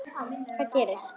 Hvað gerist?